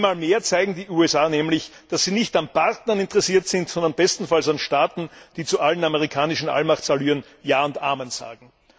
Einmal mehr zeigen die USA nämlich, dass sie nicht an Partnern interessiert sind, sondern bestenfalls an Staaten, die zu allen amerikanischen Allmachtsallüren Ja und Amen sagen.